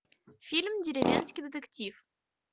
фильм деревенский детектив